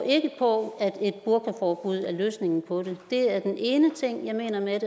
på at et burkaforbud er løsningen på det det er den ene ting jeg mener med